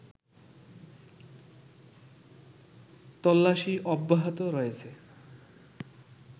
তল্লাশী অব্যাহত রয়েছে